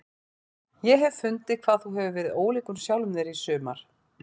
Ég hef fundið hvað þú hefur verið ólíkur sjálfum þér í sumar.